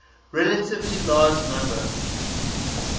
relatively large number